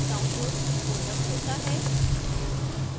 downloads folder खुलता है